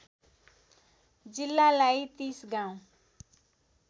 जिल्लालाई ३० गाउँ